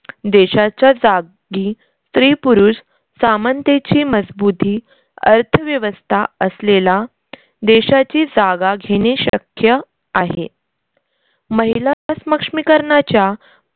देशाच्या जागी स्त्री-पुरुष सामनतेची मजबूती अर्थव्यवस्था असलेला देशाची जागा घेणे शक्य आहे. महिला स्मक्ष्मीकरनाच्या